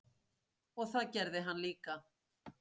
Og það gerði hann líka.